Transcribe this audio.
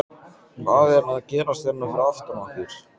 Hvað er að gerast hérna fyrir aftan okkur?